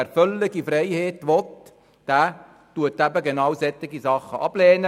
Wer völlige Freiheit will, der lehnt solche Dinge ab;